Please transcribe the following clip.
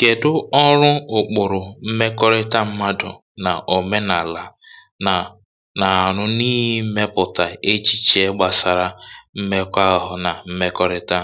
kèdú ọrụ ụ̀kpụrụ̀ mmekọ̀rịta mmadụ na òmenàlà na na-anụ n’imepụ̀tà echiche gbasara mmekọ̀ ahụ na mmekọ̀rịta